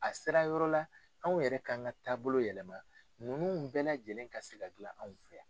A sera yɔrɔ la anw yɛrɛ k'an ka taabolo yɛlɛma ninnu bɛɛ lajɛlen ka se ka dilan anw fɛ.